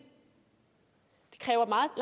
kræver